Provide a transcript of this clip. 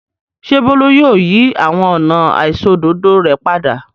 Ṣé Bólú yóò yí àwọn ọ̀nà àìṣòdodo rẹ̀ padà?